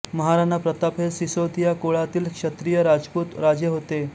महाराणा प्रताप हे सिसोदिया कुळातील क्षत्रिय राजपूत राजे होते